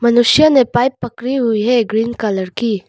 मनुष्य ने पाइप पकड़ी हुई है ग्रीन कलर की।